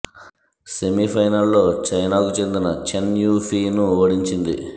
semi ఫైనల్లో చైనాకు చెందిన చెన్ యూ ఫీ ను ఓడించింది